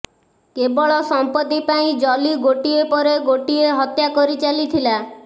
କେବଳ ସମ୍ପତ୍ତି ପାଇଁ ଜଲି ଗୋଟିଏ ପରେ ଗୋଟିଏ ହତ୍ୟା କରି ଚାଲିଥିଲା